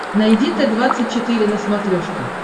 найди т двадцать четыре на смотрешке